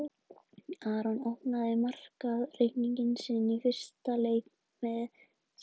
Aron opnaði markareikning sinn í fyrsta leik með skalla.